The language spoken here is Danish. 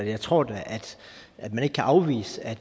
at jeg tror da at man ikke kan afvise at